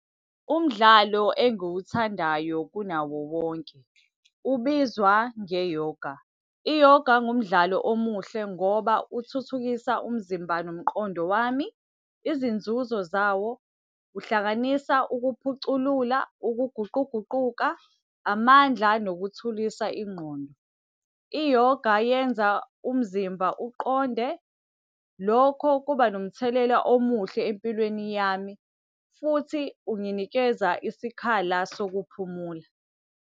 Umdlalo engiwuthandayo kunawo wonke ubizwa nge-yoga. Iyoga ngumdlalo omuhle ngoba uthuthukisa umzimba, nomqondo wami. Izinzuzo zawo, uhlanganisa ukuphuculula, ukuguquguquka, amandla, nokuthulisa ingqondo. I-yoga yenza umzimba uqonde. Lokho kuba nomthelela omuhle empilweni yami, futhi unginikeza isikhala sokuphumula.